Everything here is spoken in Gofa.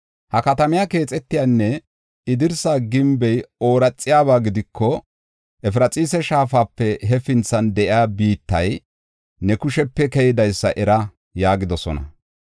Ha katamiya keexetiyanne I dirsa gimbey ooraxiyaba gidiko, Efraxiisa Shaafape hefinthan de7iya biittay ne kushepe keydaysa era” yaagidosona.